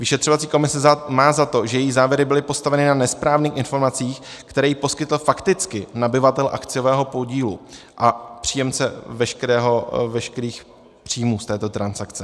Vyšetřovací komise má za to, že její závěry byly postaveny na nesprávných informacích, které jí poskytl fakticky nabyvatel akciového podílu a příjemce veškerých příjmů z této transakce.